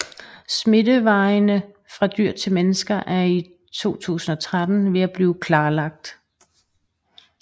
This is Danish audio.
Smittevejene fra dyr til mennesker er i 2013 ved at blive klarlagt